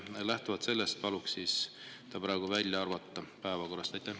Lähtuvalt sellest paluks see päevakorrast välja arvata.